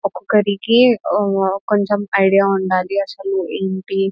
ఒక్కొక్కరికి కొంచెం ఐడియా ఉండాలి అసలు ఏంటి --